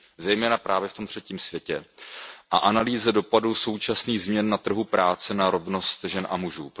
zejména právě v tom třetím světě a na analýzu dopadu současných změn na trhu práce na rovnost žen a mužů.